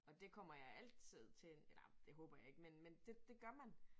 Og det kommer jeg altid til eller det håber jeg ikke men men det det gør man